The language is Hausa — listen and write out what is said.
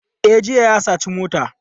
E, jiya ya saci mota.